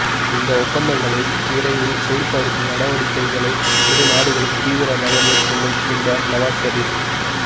இந்த ஒப்பந்தங்களை விரைவில் செயல்படுத்தும் நடவடிக்கைகளை இரு நாடுகளும் தீவிரமாக மேற்கொள்ளும் என்றார் நவாஸ் ஷெரீஃப்